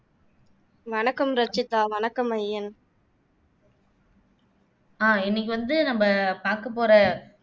வணக்கம் ரச்சிதா, வணக்கம் ஐயன்